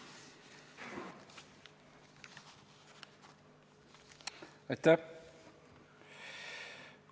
Aitäh!